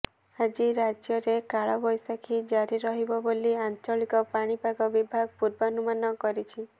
ଆଜି ରାଜ୍ୟରେ କାଳବୈଶାଖୀ ଜାରି ରହିବ ବୋଲି ଆଞ୍ଚଳିକ ପାଣିପାଗ ବିଭାଗ ପୂର୍ବାନୁମାନ କରିଛି